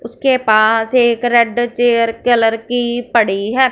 उसके पास एक रेड चेयर कलर की पड़ी है।